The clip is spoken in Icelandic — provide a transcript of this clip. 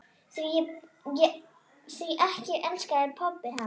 Því ekki elskaði pabbi hana.